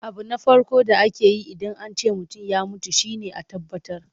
Abu na farko da ake yi Idan an ce mutum ya mutu shi ne a tabbatar.